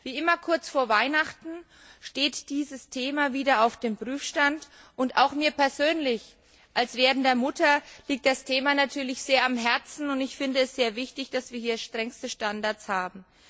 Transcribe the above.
Wie immer kurz vor Weihnachten steht dieses Thema wieder auf dem Prüfstand, und auch mir persönlich, als werdender Mutter, liegt das Thema natürlich sehr am Herzen, und ich finde es sehr wichtig, dass wir strengste Standards haben.